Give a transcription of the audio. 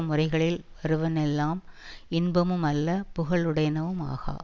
முறைகளில் வருவன்வெல்லம் இன்பமும் அல்ல புகழுடையனவும் ஆகா